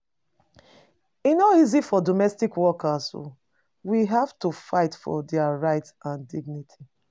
E no easy for domestic workers. We have to fight for dia rights and dignity.